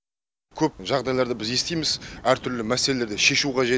көп жағдайларда біз естиміз әртүрлі мәселелерді шешу қажет